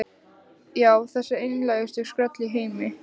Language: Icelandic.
Já, þessi einlægustu skröll í heimi.